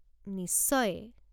নিশ্চয়!